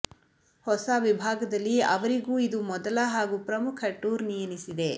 ಹೊಸ ವಿಭಾಗದಲ್ಲಿ ಅವರಿಗೂ ಇದು ಮೊದಲ ಹಾಗೂ ಪ್ರಮುಖ ಟೂರ್ನಿ ಎನಿಸಿದೆ